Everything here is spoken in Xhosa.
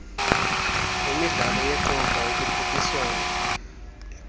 nemidlalo yeqonga ukhuphiswano